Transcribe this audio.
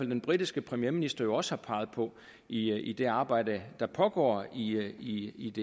den britiske premierminister også har peget på i i det arbejde der pågår i